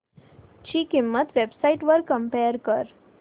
ची किंमत websites वर कम्पेअर कर